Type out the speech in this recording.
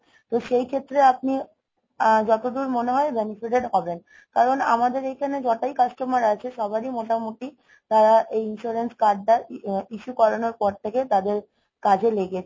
তো সেই ক্ষেত্রে আপনি আহ যতদূর মনে হয় benefited হবেন। কারণ আমাদের এখানে যতই customer আছে সবারই মোটামুটি তারা এই insurance card টা issue করানোর পর থেকে তাদের কাজে লেগেছে।